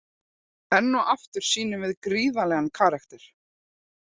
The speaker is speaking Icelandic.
Enn og aftur sýnum við gríðarlegan karakter.